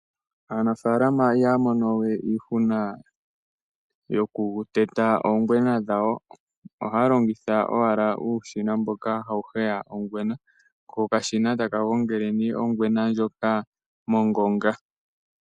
Aanafaalama ihaamonowe iihuna yokuteta oongwena dhawo. Ohaalongitha owala uushina mboka hawuheya ongwena, okashina takagongele nee ongwena ndjoka mongonga.